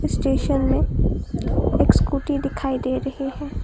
Station में एक scooty दिखाई दे रही हैं।